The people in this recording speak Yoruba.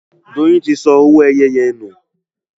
Doyin tí sọ owoeye yén nù